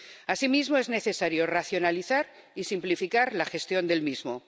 Asimismo, es necesario racionalizar y simplificar la gestión del mismo.